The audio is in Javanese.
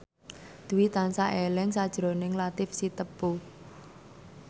Dwi tansah eling sakjroning Latief Sitepu